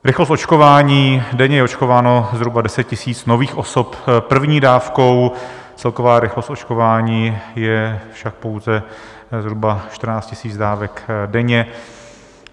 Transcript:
Rychlost očkování: denně je očkováno zhruba 10 000 nových osob první dávkou, celková rychlost očkování je však pouze zhruba 14 000 dávek denně.